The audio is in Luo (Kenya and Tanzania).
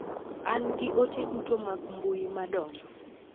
An gi ote duto mag mbui madonjo.